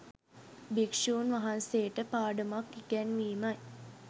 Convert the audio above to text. භික්‍ෂූන් වහන්සේට පාඩමක් ඉගැන්වීමයි